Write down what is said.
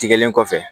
Tigɛlen kɔfɛ